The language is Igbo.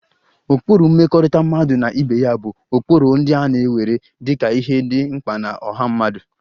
Ụkpụrụ mmekọrịta mmadụ na ibe ya bụ ụkpụrụ ndị a na-ewere dị ka ihe dị mkpa na ọha mmadụ